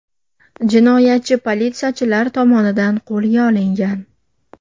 Jinoyatchi politsiyachilar tomonidan qo‘lga olingan.